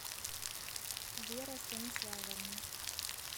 вера станиславовна